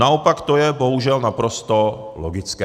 Naopak to je bohužel naprosto logické.